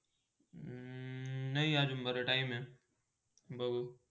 हम्म नय आज बर time आहे बघू.